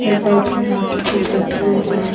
एक आदमी हाथी पे बैठा हुआ है।